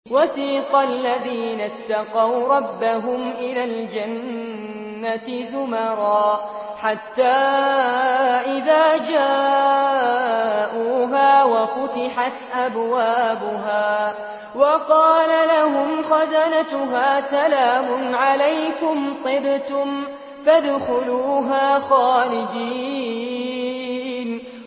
وَسِيقَ الَّذِينَ اتَّقَوْا رَبَّهُمْ إِلَى الْجَنَّةِ زُمَرًا ۖ حَتَّىٰ إِذَا جَاءُوهَا وَفُتِحَتْ أَبْوَابُهَا وَقَالَ لَهُمْ خَزَنَتُهَا سَلَامٌ عَلَيْكُمْ طِبْتُمْ فَادْخُلُوهَا خَالِدِينَ